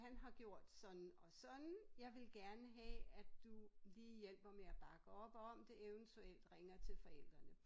Han har gjort sådan og sådan jeg vil gerne have at du lige hjælper med at bakke op om det eventuelt ringer til forældrene